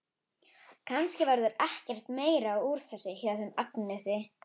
Kannski verður ekkert meira úr þessu hjá þeim Agnesi.